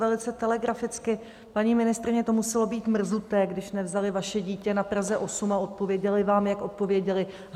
Velice telegraficky: Paní ministryně, to muselo být mrzuté, když nevzali vaše dítě na Praze 8 a odpověděli vám, jak odpověděli.